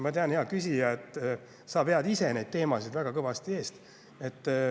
Ma tean, hea küsija, et sa ise vead neid teemasid väga kõvasti eest.